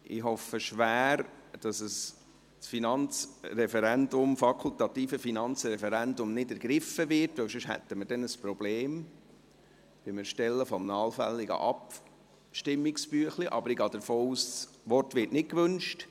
Ich hoffe schwer, dass das fakultative Finanzreferendum nicht ergriffen wird, sonst hätten wir dann Probleme beim Erstellen eines allfälligen Abstimmungsbüchleins, aber ich gehe davon aus, das Wort werde nicht gewünscht.